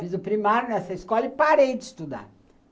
Fiz o primário nessa escola e parei de estudar.